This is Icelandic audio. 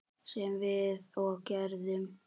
Sem við og gerðum.